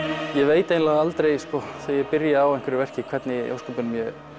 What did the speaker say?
ég veit eiginlega aldrei sko þegar ég byrja á einhverju verki hvernig í ósköpunum ég